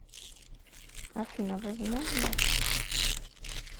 афина возможно